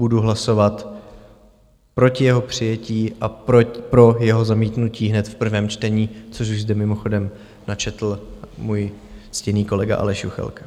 Budu hlasovat proti jeho přijetí a pro jeho zamítnutí hned v prvém čtení, což už zde mimochodem načetl můj ctěný kolega Aleš Juchelka.